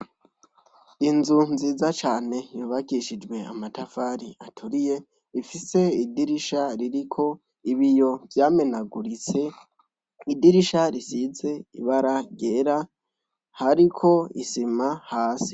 Inzu nziza cyane yubakishijwe amatafari aturiye, ifise idirisha ririko ibiyo vyamenaguritse, idirisha risize ibara ryera hariko isima hasi.